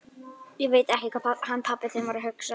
Ég veit ekki hvað hann pabbi þinn var að hugsa!